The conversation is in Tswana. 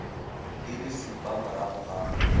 di le supa morago ga